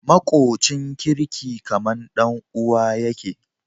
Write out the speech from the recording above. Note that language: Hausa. Makocin kirki kaman dan uwa yake